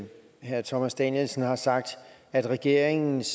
herre thomas danielsen har sagt at regeringens